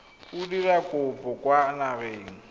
o dira kopo kwa dinageng